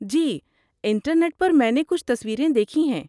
جی، internet پر میں نے کچھ تصویریں دیکھی ہیں۔